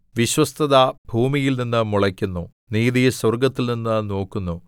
വിശ്വസ്തത ഭൂമിയിൽനിന്ന് മുളയ്ക്കുന്നു നീതി സ്വർഗ്ഗത്തിൽനിന്ന് നോക്കുന്നു